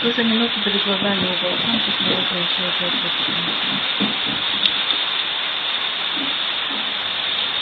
в ту же минуту перед глазами у волчонка снова пронеслось жёлтое пятно